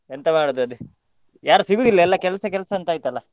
ಎಂತ ಮಾಡುದು ಅದೇ ಯಾರು ಸಿಗುದಿಲ್ಲ ಎಲ್ಲ ಕೆಲ್ಸ ಕೆಲ್ಸ ಅಂತಾಯ್ತಲ್ಲ.